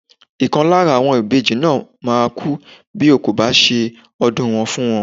Ìkan lára àwọn ìbejì náà máa kú bí o kò bá ṣe ọdún wọn fún wọn.